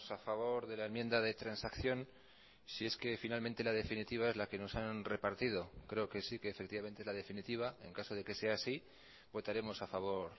a favor de la enmienda de transacción si es que finalmente la definitiva es la que nos han repartido creo que sí que efectivamente la definitiva en caso de que sea así votaremos a favor